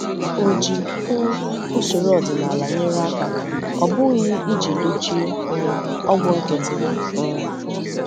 Ọ ji um usoro ọdịnala nyere aka, ọ bụghị iji dochie um ọgwụ nkịtị. um